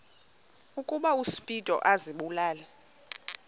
ukuba uspido azibulale